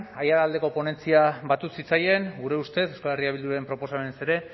aiaraldeko ponentzia batu zitzaien gure ustez euskal herria bilduren proposamenez ere